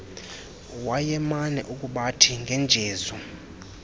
wayemane ukubathi ngenjezu